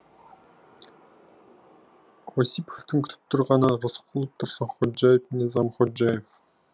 осиповтың күтіп тұрғаны рысқұлов тұрсынходжаев низам ходжаев